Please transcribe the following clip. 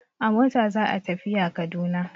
A mota za a tafiya Kaduna.